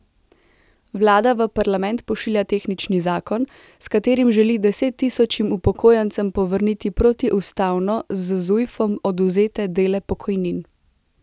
Vlada v parlament pošilja tehnični zakon, s katerim želi desettisočim upokojencem povrniti protiustavno z Zujfom odvzete dele pokojnin.